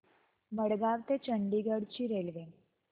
मडगाव ते चंडीगढ ची रेल्वे